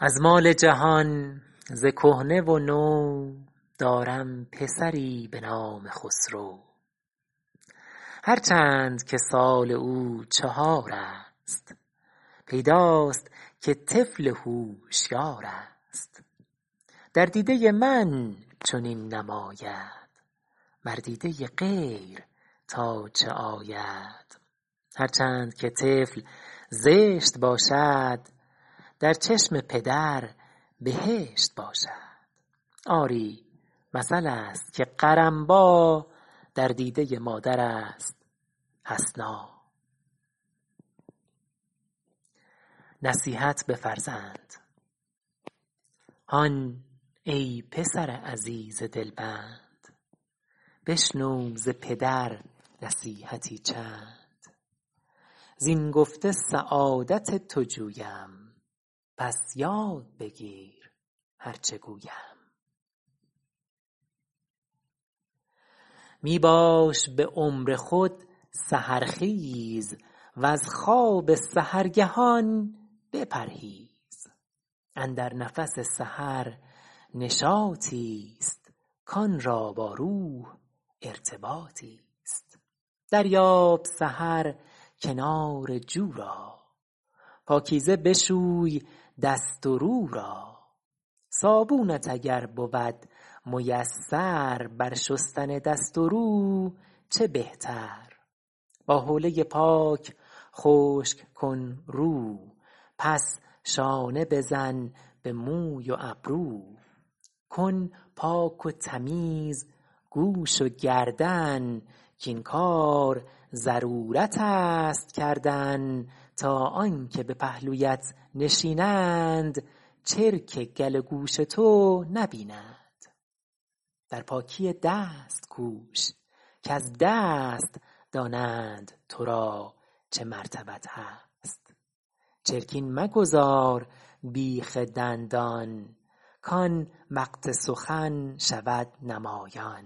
از مال جهان ز کهنه و نو دارم پسری به نام خسرو هر چند که سال او چهار است پیداست که طفل هوشیار است در دیده من چنین نماید بر دیده غیر تا چه آید هر چند که طفل زشت باشد در چشم پدر بهشت باشد آری مثل است که قرنبیٰ در دیده مادر است حسنا هان ای پسر عزیز دلبند بشنو ز پدر نصیحتی چند ز این گفته سعادت تو جویم پس یاد بگیر هر چه گویم می باش به عمر خود سحرخیز وز خواب سحرگهان بپرهیز اندر نفس سحر نشاطی است کان را با روح ارتباطی است دریاب سحر کنار جو را پاکیزه بشوی دست و رو را صابونت اگر بود میسر بر شستن دست و رو چه بهتر با هوله پاک خشک کن رو پس شانه بزن به موی و ابرو کن پاک و تمیز گوش و گردن کاین کار ضرورت است کردن تا آن که به پهلویت نشینند چرک گل و گوش تو نبینند در پاکی دست کوش کز دست دانند ترا چه مرتبت هست چرکین مگذار بیخ دندان کان وقت سخن شود نمایان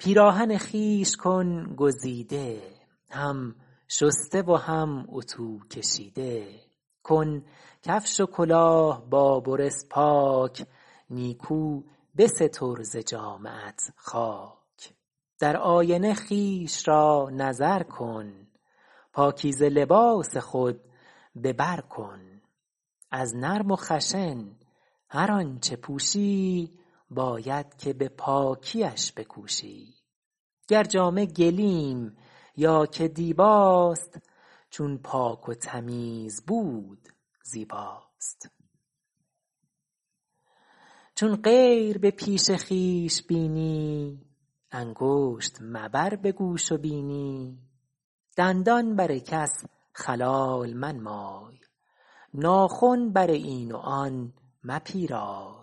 پیراهن خویش کن گزیده هم شسته و هم اطو کشیده کن کفش و کلاه با بروس پاک نیکو بستر ز جامه ات خاک در آینه خویش را نظر کن پاکیزه لباس خود به بر کن از نرم و خشن هر آنچه پوشی باید که به پاکیش بکوشی گر جامه گلیم یا که دیباست چون پاک و تمیز بود زیباست چون غیر به پیش خویش بینی انگشت مبر به گوش و بینی دندان بر کس خلال منمای ناخن بر این و آن مپیرای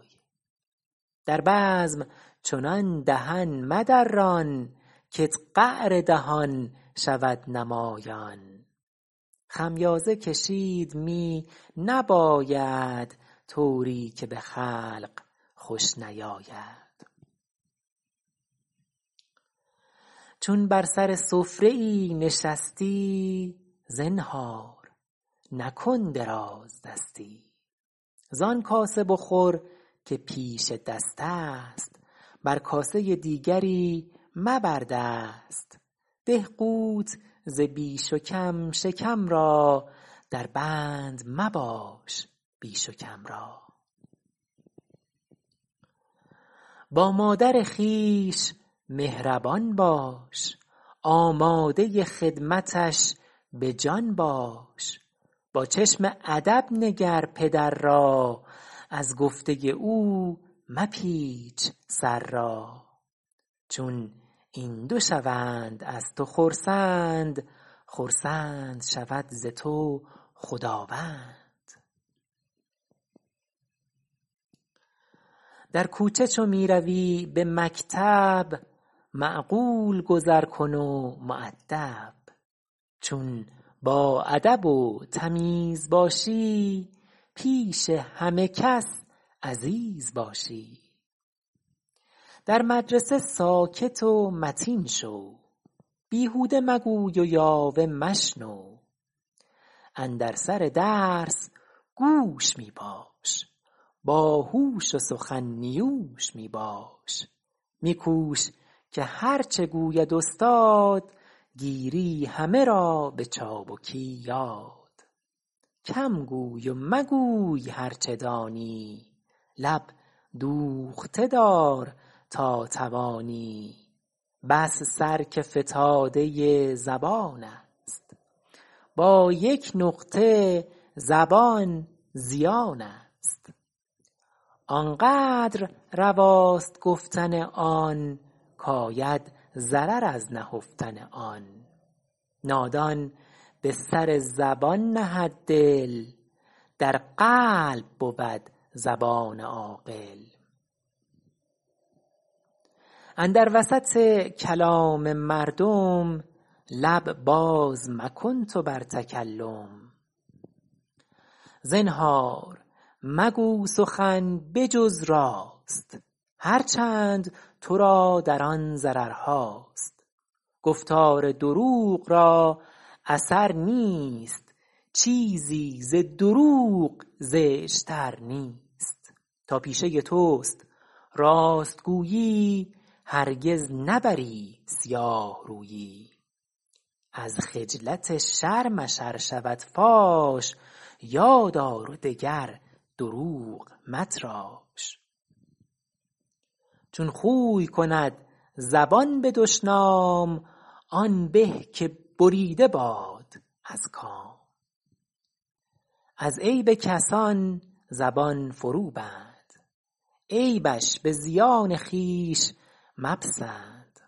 در بزم چنان دهن مدران کت قعر دهان شود نمایان خمیازه کشید می نباید طوری که به خلق خوش نیاید چون بر سر سفره ای نشستی زنهار نکن دراز دستی زان کاسه بخور که پیش دستست بر کاسه دیگری مبر دست ده قوت ز بیش و کم شکم را دربند مباش بیش و کم را با مادر خویش مهربان باش آماده خدمتش به جان باش با چشم ادب نگر پدر را از گفته او مپیچ سر را چون این دو شوند از تو خرسند خرسند شود ز تو خداوند در کوچه چو می روی به مکتب معقول گذر کن و مؤدب چون با ادب و تمیز باشی پیش همه کس عزیز باشی در مدرسه ساکت و متین شو بیهوده مگوی و یاوه مشنو اندر سر درس گوش می باش با هوش و سخن نیوش می باش می کوش که هرچه گوید استاد گیری همه را به چابکی یاد کم گوی و مگوی هرچه دانی لب دوخته دار تا توانی بس سر که فتاده زبان است با یک نقطه زبان زیان است آن قدر رواست گفتن آن کاید ضرر از نهفتن آن نادان به سر زبان نهد دل در قلب بود زبان عاقل اندر وسط کلام مردم لب باز مکن تو بر تکلم زنهار مگو سخن بجز راست هرچند ترا در آن ضررهاست گفتار دروغ را اثر نیست چیزی ز دروغ زشت تر نیست تا پیشه تست راست گویی هرگز نبری سیاه رویی از خجلت شرمش ار شود فاش یادآر و دگر دروغ متراش چون خوی کند زبان به دشنام آن به که بریده باد از کام از عیب کسان زبان فرو بند عیبش به زیان خویش مپسند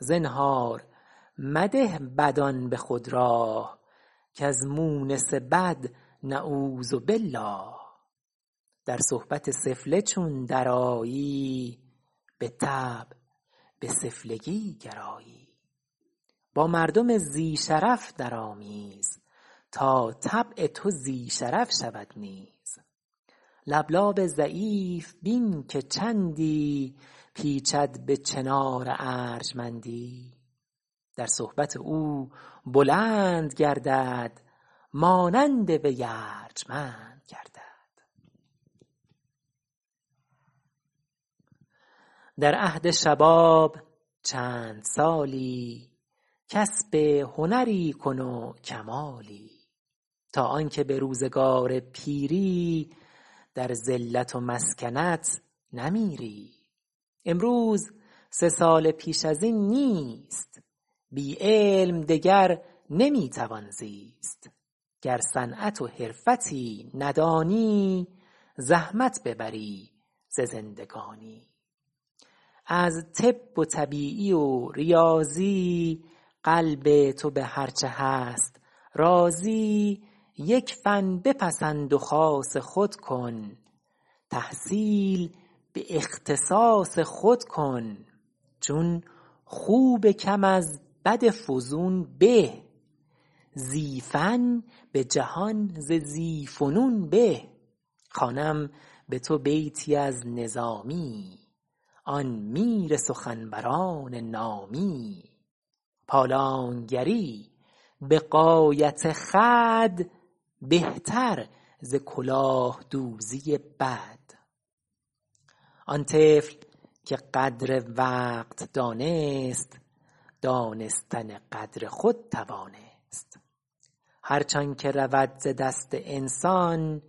زنهار مده بدان به خود راه کز مونس بد نعوذ بالله در صحبت سفله چون درآیی بالطبع به سفلگی گرایی با مردم ذی شرف درآمیز تا طبع تو ذی شرف شود نیز لبلاب ضعیف بین که چندی پیچد به چنار ارجمندی در صحبت او بلند گردد مانند وی ارجمند گردد در عهد شباب چند سالی کسب هنری کن و کمالی تا آن که به روزگار پیری در ذلت و مسکنت نمیری امروز سه سال پیش از این نیست بی علم دگر نمی توان زیست گر صنعت و حرفتی ندانی زحمت ببری ز زندگانی از طب و طبیعی و ریاضی قلب تو به هرچه هست راضی یک فن بپسند و خاص خود کن تحصیل به اختصاص خود کن چون خوب کم از بد فزون به ذی فن به جهان ز ذی فنون به خوانم به تو بیتی از نظامی آن میر سخنوران نامی پالانگری به غایت خود بهتر ز کلاه دوزی بد آن طفل که قدر وقت دانست دانستن قدر خود توانست هرچ آن که رود ز دست انسان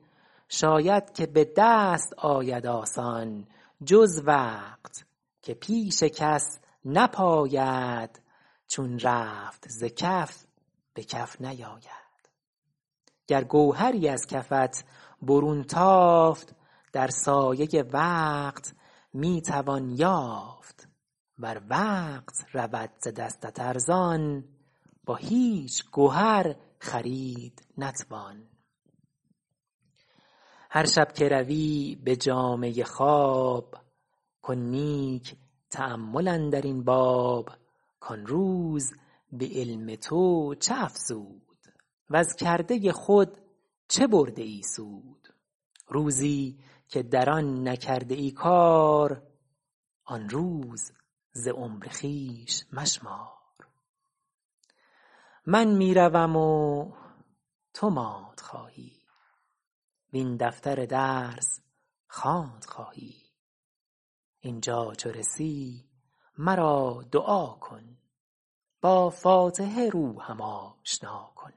شاید که به دست آید آسان جز وقت که پیش کس نپاید چون رفت ز کف به کف نیاید گر گوهری از کفت برون تافت در سایه وقت می توان یافت ور وقت رود ز دستت ارزان با هیچ گهر خرید نتوان هر شب که روی به جامه خواب کن نیک تأمل اندر این باب کان روز به علم تو چه افزود وز کرده خود چه برده ای سود روزی که در آن نکرده ای کار آن روز ز عمر خویش مشمار من می روم و تو ماند خواهی وین دفتر درس خواند خواهی اینجا چو رسی مرا دعا کن با فاتحه روحم آشنا کن